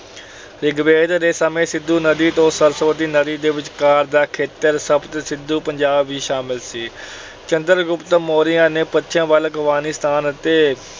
ਰਿਗਵੇਦ ਦੇ ਸਮੇਂ ਸਿੰਧੂ ਨਦੀ ਤੋਂ ਸਰਸਵਤੀ ਨਦੀ ਦੇ ਵਿਚਕਾਰ ਦਾ ਖੇਤਰ ਸਪਤ ਸਿੰਧੂ ਪੰਜਾਬ ਵੀ ਸ਼ਾਮਲ ਸੀ। ਚੰਦਰ ਗੁਪਤ ਮੌਰੀਆ ਨੇ ਪੱਛਮ ਵੱਲ ਅਫਗਾਨਿਸਤਾਨ ਅਤੇ